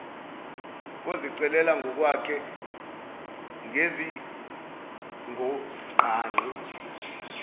kozicelela ngokwakhe ngezidingongqangi